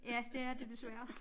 Ja det er det desværre